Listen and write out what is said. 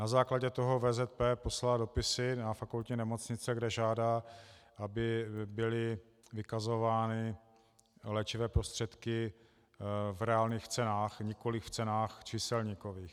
Na základě toho VZP poslala dopisy na fakultní nemocnice, kde žádá, aby byly vykazovány léčivé prostředky v reálných cenách, nikoliv v cenách číselníkových.